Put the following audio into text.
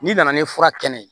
N'i nana ni fura kɛnɛ ye